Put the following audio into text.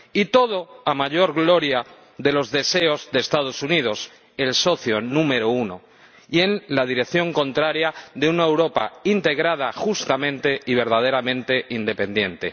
Todo ello para mayor gloria de los deseos de Estados Unidos, el socio número uno, y en la dirección contraria a una Europa integrada justamente y verdaderamente independiente.